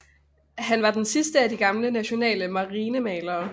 Han var den sidste af de gamle nationale marinemalere